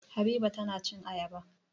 Habiba tana cin ayaba.